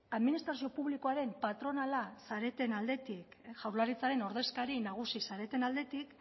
administrazio publikoaren patronala zareten aldetik jaurlaritzaren ordezkari nagusi zareten aldetik